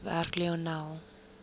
werk lionel